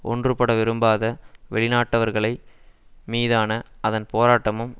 ஒன்றுபட விரும்பாத வெளி நாட்டவர்களை மீதான அதன் போராட்டமும்